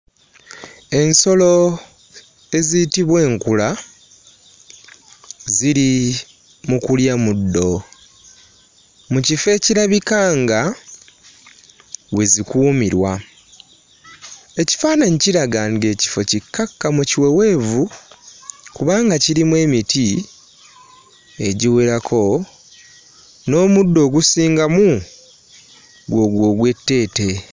Ensolo eziyitibwa enkula ziri mu kulya muddo mu kifo ekirabika nga we zikuumirwa. Ekifaananyi kiraga ng'ekifo kikkakkamu kiweweevu kubanga kirimu emiti egiwerako, n'omuddo ogusingamu gwegwo ogw'etteete.